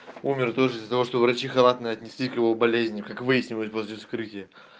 умер тоже из-за того что врачи халатно отнеслись к его болезни как выяснилось после вскрытия